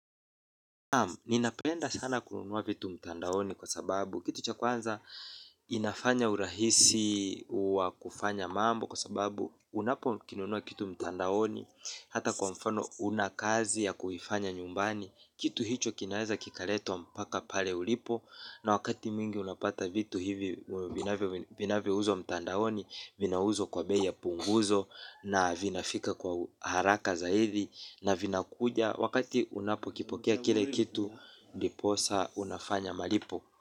Ninapenda sana kununua vitu mtandaoni kwa sababu kitu cha kwanza inafanya urahisi wa kufanya mambo kwa sababu unapokinunua kitu mtandaoni hata kwa mfano una kazi ya kuifanya nyumbani kitu hicho kinaweza kikaletwa mpaka pale ulipo na wakati mwingi unapata vitu hivi vinavyo vinavyouzwa mtandaoni vinauzwa kwa bei ya punguzo na vinafika kwa haraka zaidi na vinakuja wakati unapokipokea kile kitu ndiposa unafanya malipo.